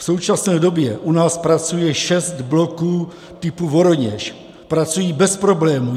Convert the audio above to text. V současné době u nás pracuje šest bloků typu Voroněž, pracují bez problémů.